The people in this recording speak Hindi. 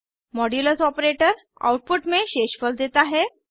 मॉड्यूलस ऑपरेटर आउटपुट में शेषफल देता है